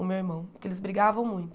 o meu irmão, porque eles brigavam muito.